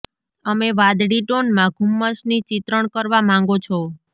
અમે વાદળી ટોન માં ધુમ્મસની ચિત્રણ કરવા માંગો છો